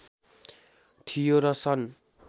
थियो र सन्